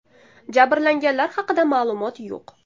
Jabrlanganlar haqida ma’lumot yo‘q.